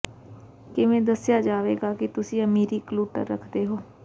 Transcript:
ਕਿਵੇਂ ਦੱਿਸਆ ਜਾਏਗਾ ਕਿ ਤੁਸੀਂ ਅਮੀਰੀ ਕਲੁੱਟਰ ਰਖਦੇ ਹੋ